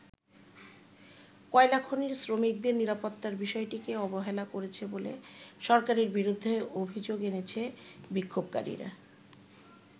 কয়লাখনির শ্রমিকদের নিরাপত্তার বিষয়টিকে অবহেলা করেছে বলে সরকারের বিরুদ্ধে অভিযোগ এনেছে বিক্ষোভকারীরা।